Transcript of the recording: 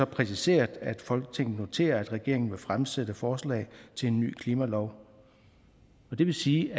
præciseret at folketinget noterer at regeringen vil fremsætte forslag til en ny klimalov det vil sige